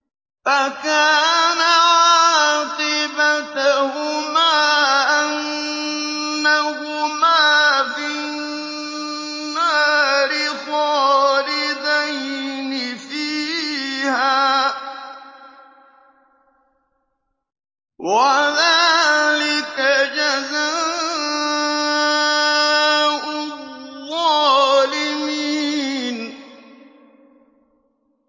فَكَانَ عَاقِبَتَهُمَا أَنَّهُمَا فِي النَّارِ خَالِدَيْنِ فِيهَا ۚ وَذَٰلِكَ جَزَاءُ الظَّالِمِينَ